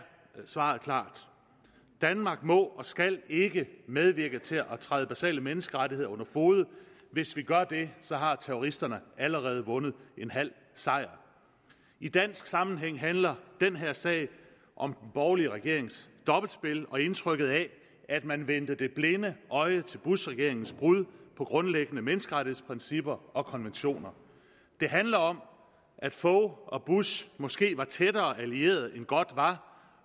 svaret klart danmark må og skal ikke medvirke til at træde basale menneskerettigheder under fode hvis vi gør det har terroristerne allerede vundet en halv sejr i dansk sammenhæng handler den her sag om den borgerlige regerings dobbeltspil og indtrykket af at man vendte det blinde øje til bushregeringens brud på grundlæggende menneskerettighedsprincipper og konventioner det handler om at fogh og bush måske var tættere allierede end godt var